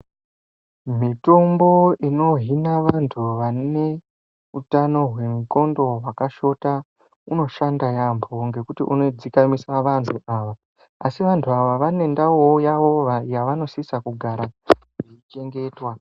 Mitombo inohina vantu vane utano hwendxondo hwakashota unoshanda yaambo nekuti unodzikamisa vanhu avo asi vantu ava vane ndau yavanosisa kugara vachichengetwa.